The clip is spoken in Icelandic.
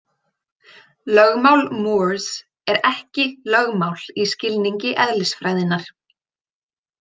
Lögmál Moores er ekki lögmál í skilningi eðlisfræðinnar.